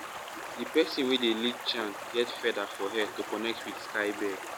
the person wey dey lead chant get feather for hair to connect with sky bird.